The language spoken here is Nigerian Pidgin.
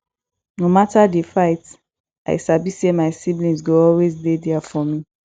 no matter di fight i sabi say my siblings go always dey there for me